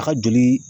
A ka joli